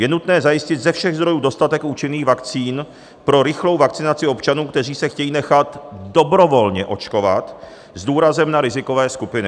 Je nutné zajistit ze všech zdrojů dostatek účinných vakcín pro rychlou vakcinaci občanů, kteří se chtějí nechat dobrovolně očkovat, s důrazem na rizikové skupiny.